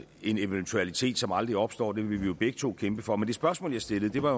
en eventualitet som aldrig opstår det vil vi jo begge to kæmpe for men det spørgsmål jeg stillede var